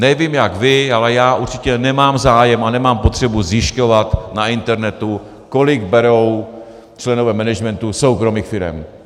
Nevím jak vy, ale já určitě nemám zájem a nemám potřebu zjišťovat na internetu, kolik berou členové managementu soukromých firem.